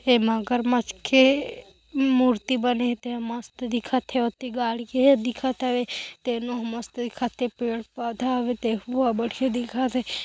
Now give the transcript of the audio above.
ए मगरमछ के मूर्ति बने हे ते ह मस्त दिखत हे ओति गाड़ी गे दिखत हवे तेनो ह मस्त दिखत हे पेड-पौधा हवे तेहुहा बढ़िया दिखत हे।